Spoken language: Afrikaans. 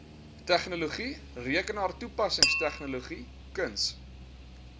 tegnologie rekenaartoepassingstegnologie kuns